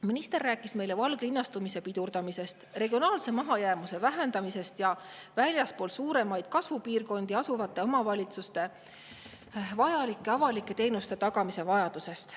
Minister rääkis meile valglinnastumise pidurdamisest, regionaalse mahajäämuse vähendamisest ja väljaspool suuremaid kasvupiirkondi asuvate omavalitsuste vajadusest tagada avalikud teenused.